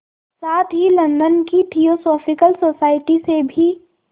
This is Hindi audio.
साथ ही लंदन की थियोसॉफिकल सोसाइटी से भी